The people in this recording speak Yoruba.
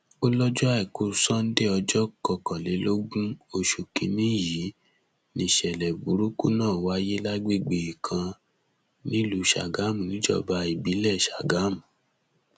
ó lọjọ àìkú sanńdé ọjọ kọkànlélógún oṣù kinni yìí nìṣẹlẹ burúkú náà wáyé lágbègbè kan nílùú sàgámù níjọba ìbílẹ sàgámù